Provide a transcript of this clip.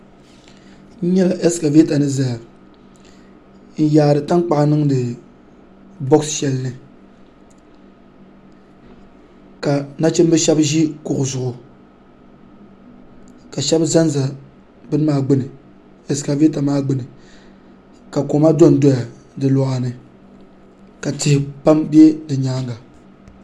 N nyɛ ɛskavɛta ni ʒɛya n yaari tankpaɣu niŋdi boɣa shɛli ni ka nachimbi shab ʒi kuɣu zuɣu ka shab ʒɛnʒɛ bini maa gbuni ɛskavɛta maa gbuni ka koma dondoya di luɣa ni ka tihi pam bɛ di nyaanga